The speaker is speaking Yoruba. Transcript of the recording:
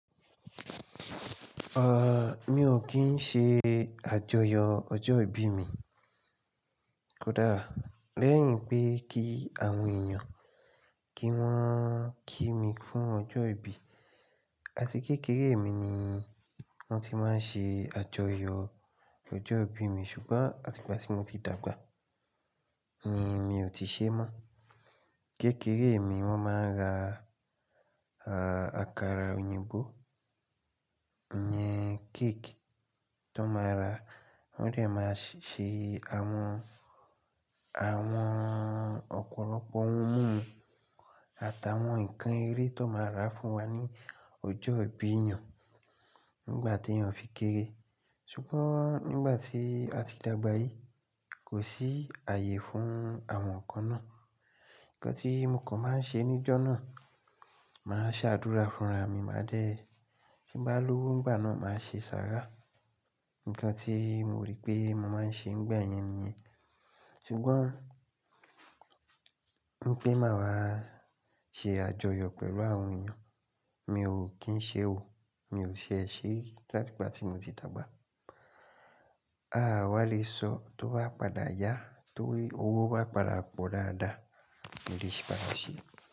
À, mi ò kí ń ṣe àjọyọ̀ ọjọ́ ìbí mi. Kódà lẹ́yìn pé kí àwọn èèyàn kí wọ́n kí mi fún ọjọ́ ìbí. Àti kékeré mi ni wọ́n ti máa ń ṣe àjọyọ̀ ọjọ́ ìbí mi ṣùgbọ́n àti ìgbà tí mo ti dàgbà ni èmi ò ti ṣe mọ́. Kékeré mi wọ́n máa ń ra, à, àkàrà òyìnbó, ìyẹn cake tón máa rà, wọ́n dẹ̀ máa ṣe àwọn, àwọn ọ̀pọ̀lọpọ̀ ohun mímu àtàwọn ǹkan eré tó máa rà fún wa ní ọjọ́ ìbí èèyàn nígbà tí wọn fi kéré. Ṣùgbọ́n nígbà tí a ti dàgbà yìí kò sí ààyè fún àwọn ǹkan náà. Ǹkan tí mo kàn máa ń ṣe níjọ́ náà, màá ṣáàdúrà fúnra mi máa dẹ́, tí ń bá lówó nígbà náà màá ṣe sàrá. Ǹkan tí mo rí pé mo máa ń ṣe nígbà yẹn nìyẹn. Ṣùgbọ́n pé màá wá ṣe àjọyọ̀ pẹ̀lú àwọn èèyàn, mi ò kí ń ṣe ò, mi ò ṣie ṣé láti ìgbà tí mo ti dàgbà. Aá wà le sọ tó bá padà yá, tóí owó bá padà pò dáadáa, mo lè ṣe pàtàkì.